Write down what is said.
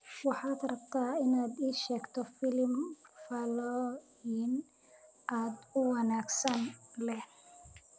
Waxaad rabtaa inaad ii sheegto filim faallooyin aad u wanaagsan leh